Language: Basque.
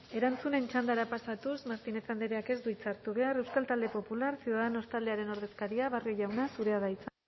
erantzunen txandara pasatuz martínez andreak ez du hitza hartu behar euskal talde popular ciudadanos taldearen ordezkaria barrio jauna zurea da hitza